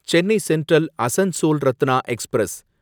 Chennai central Asansol Ratna express